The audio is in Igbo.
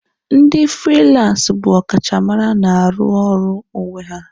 Ndi firilansasi bụ ọkachamara na-arụ ọrụ onwe ya.